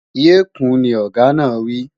Yé kùún, ni Ọ̀gá náà wí!